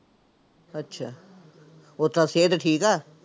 ਅੱਛਾ, ਓਦਾਂ ਸਿਹਤ ਠੀਕ ਆ?